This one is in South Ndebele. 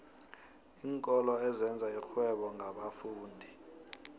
iinkolo ezenza irhwebo ngabafundi